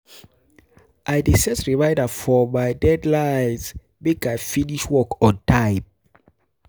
I dey set reminder for my deadlines, make I finish work on time